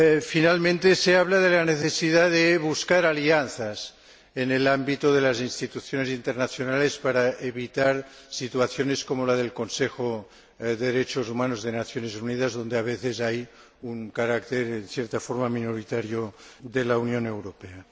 Finalmente, se habla de la necesidad de buscar alianzas en el ámbito de las instituciones internacionales para evitar situaciones como la del Consejo de Derechos Humanos de las Naciones Unidas, donde a veces hay una presencia en cierta forma minoritaria de la Unión Europea.